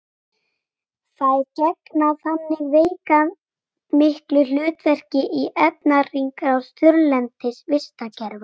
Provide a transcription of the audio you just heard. þær gegna þannig veigamiklu hlutverki í efnahringrás þurrlendis vistkerfa